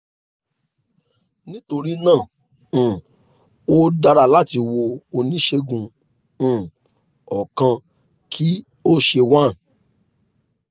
nitorina um o dara lati wo onisegun um ọkan ki o ṣe one